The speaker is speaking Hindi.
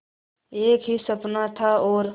एक ही सपना था और